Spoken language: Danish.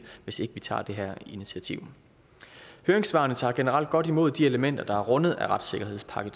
hvis ikke vi tager det her initiativ høringssvarene tager generelt godt imod de elementer der er rundet af retssikkerhedspakke